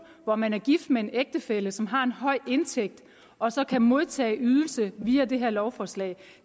hvor man er gift med en ægtefælle som har en høj indtægt og så kan modtage en ydelse via det her lovforslag